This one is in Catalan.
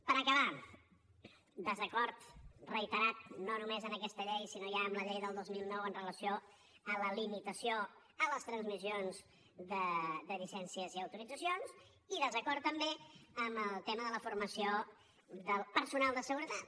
per acabar desacord reiterat no només amb aquesta llei sinó ja amb la llei del dos mil nou amb relació a la limitació a les transmissions de llicències i autoritzacions i desacord també amb el tema de la formació del personal de seguretat